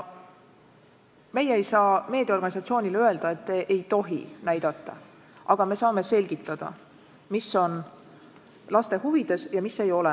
Meie ei saa meediaorganisatsioonile öelda, et te ei tohi näidata, aga me saame selgitada, mis on laste huvides ja mis ei ole.